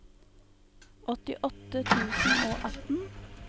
åttiåtte tusen og atten